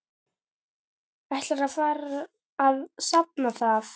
Ætlarðu að afsanna það?